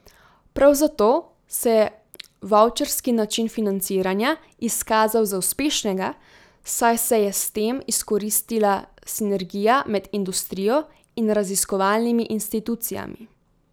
Prav zato se je vavčerski način financiranja izkazal za uspešnega, saj se je s tem izkoristila sinergija med industrijo in raziskovalnimi institucijami.